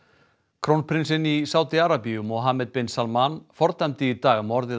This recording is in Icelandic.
krónprinsinn í Sádi Arabíu Mohammed bin Salman fordæmdi í dag morðið